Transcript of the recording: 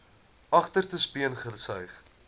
agterste speen gesuig